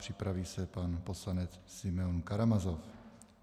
Připraví se pan poslanec Simeon Karamazov.